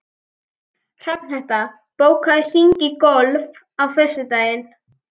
Hrafnhetta, bókaðu hring í golf á föstudaginn.